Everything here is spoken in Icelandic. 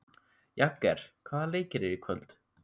Jagger, hvaða leikir eru í kvöld?